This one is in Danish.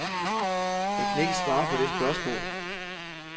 Jeg kan ikke svare på det spørgsmål.